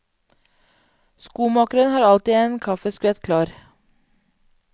Skomakeren har alltid en kaffeskvett klar.